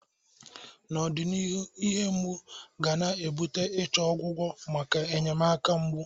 N'ọdịnihu, ihe mgbu ga na-ebute ichọ ọgwụgwọ maka enyemaka mgbu.